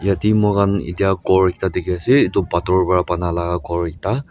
Yatheh mokhan etya ghor ekta dekhe ase etu pathor pra banalaga ghor ekta--